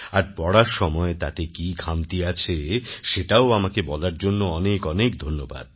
আর পড়ার সময় তাতে কি খামতি আছে সেটাও আমাকে বলার জন্য অনেক অনেক ধন্যবাদ